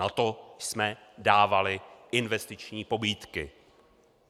Na to jsme dávali investiční pobídky!